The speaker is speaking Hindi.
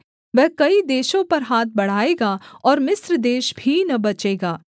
वह कई देशों पर हाथ बढ़ाएगा और मिस्र देश भी न बचेगा